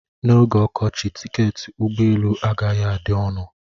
N'oge ọkọchị, tiketi ụgbọ elu agaghị adị ọnụ